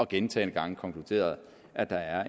gentagne gange konkluderet at der er